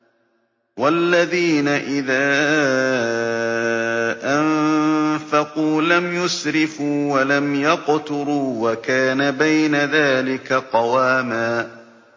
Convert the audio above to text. وَالَّذِينَ إِذَا أَنفَقُوا لَمْ يُسْرِفُوا وَلَمْ يَقْتُرُوا وَكَانَ بَيْنَ ذَٰلِكَ قَوَامًا